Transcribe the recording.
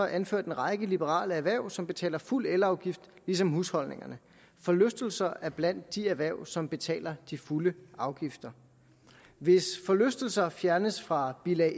anført en række liberale erhverv som betaler fuld elafgift ligesom husholdningerne forlystelser er blandt de erhverv som betaler de fulde afgifter hvis forlystelser fjernes fra bilag